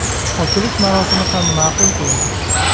Ochilish marosimi ham ma’qul keldi.